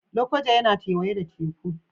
Lokoja yana kewaye da Teku